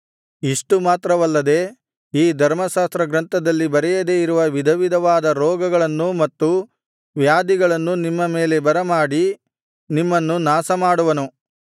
ಇಷ್ಟು ಮಾತ್ರವಲ್ಲದೆ ಈ ಧರ್ಮಶಾಸ್ತ್ರಗ್ರಂಥದಲ್ಲಿ ಬರೆಯದೆ ಇರುವ ವಿಧವಿಧವಾದ ರೋಗಗಳನ್ನೂ ಮತ್ತು ವ್ಯಾಧಿಗಳನ್ನೂ ನಿಮ್ಮ ಮೇಲೆ ಬರಮಾಡಿ ನಿಮ್ಮನ್ನು ನಾಶಮಾಡುವನು